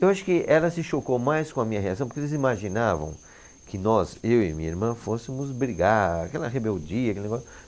Eu acho que ela se chocou mais com a minha reação, porque eles imaginavam que nós, eu e minha irmã, fôssemos brigar, aquela rebeldia, aquele negócio.